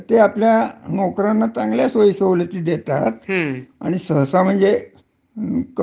हो, बरोबर आहे. आणि सगळ म्हणजे सुरक्षितच आहे, म्हणजे गर्व्हनमेंटच तेवड फक्त चांगल आहे.